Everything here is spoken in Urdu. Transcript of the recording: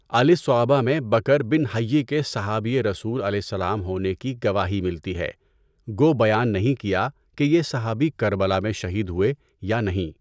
الاِصابہ میں بکر بن حَیّ کے صحابیِ رسولؐ ہونے کی گواہی ملتی ہے گو بیان نہیں کیا کہ یہ صحابی کربلا میں شہید ہوئے یا نہیں؟